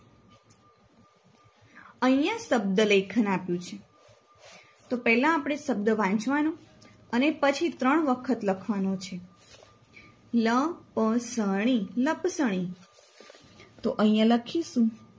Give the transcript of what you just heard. અહિયાં શબ્દ લેખન આપ્યું છે તો પેલા આપણે શબ્દ વાંચવાનો અને પછી ત્રણ વખત લખવાનો છે લપસણી લપસણી તો અહિયાં લખીશું